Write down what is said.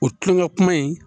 O kulonŋa kuma in